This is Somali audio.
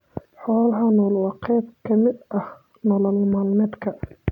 Xoolaha nool waa qayb ka mid ah nolol maalmeedka.